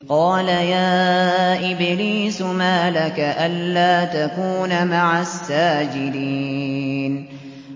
قَالَ يَا إِبْلِيسُ مَا لَكَ أَلَّا تَكُونَ مَعَ السَّاجِدِينَ